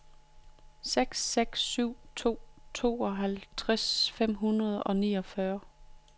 seks seks syv to tooghalvtreds fem hundrede og niogfyrre